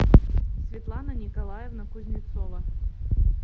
светлана николаевна кузнецова